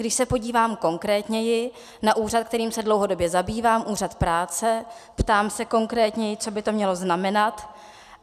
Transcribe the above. Když se podívám konkrétněji na úřad, kterým se dlouhodobě zabývám, Úřad práce, ptám se konkrétněji, co by to mělo znamenat?